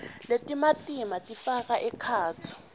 letimatima tifaka ekhatsi